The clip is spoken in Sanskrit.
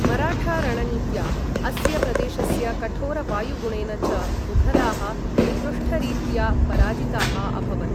मराठा रणनीत्या, अस्य प्रदेशस्य कठोर वायुगुणेन च मुघलाः निकृष्टरीत्या पराजिताः अभवन्।